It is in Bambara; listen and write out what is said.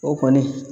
O kɔni